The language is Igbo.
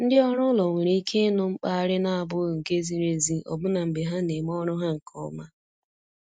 Ndị ọrụ ụlọ nwere ike ịnụ mkparị na-abụghị nke ziri ezi ọbụna mgbe ha na-eme ọrụ ha nke ọma.